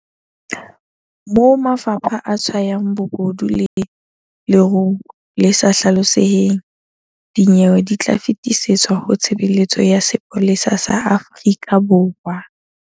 Moo mafapha a tshwayang bobodu le leruo le sa hlaloseheng, dinyewe di tla fetisetswa ho Tshebeletso ya Sepolesa sa Afrika Borwa.